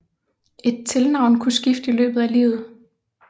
Et tilnavn kunne skifte i løbet af livet